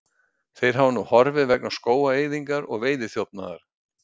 þeir hafa nú horfið vegna skógaeyðingar og veiðiþjófnaðar